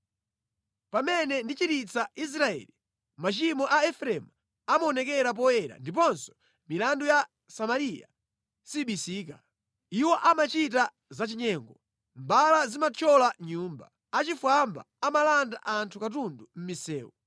Pamene ndichiritsa Israeli, machimo a Efereimu amaonekera poyera ndiponso milandu ya Samariya sibisika. Iwo amachita zachinyengo, mbala zimathyola nyumba, achifwamba amalanda anthu katundu mʼmisewu.